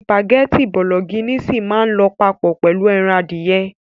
Spàgẹ́ti bologínísìì máà ń lọ papọ̀ pẹ̀lu ẹran adìyẹ.